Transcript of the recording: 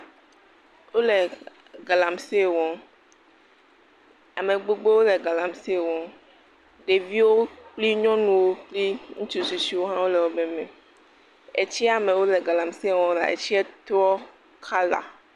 Wole galamsée wɔ. Ame gbogbowo le galamsée wɔ. Ɖeviwo kple nyɔnuwo kple ŋutsu tsitsiwo hã le woƒe me. Etsiɛme wole gamlamséɛ wɔ lea, etsiɛ trɔ kala.